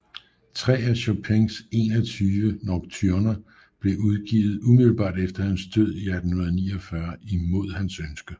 Tre af Chopins 21 Nocturner blev udgivet umiddelbart efter hans død i 1849 imod hans ønske